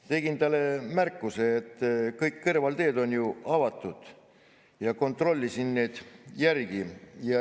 Tegin talle märkuse, et kõik kõrvalteed on ju avatud, ma kontrollisin need järgi.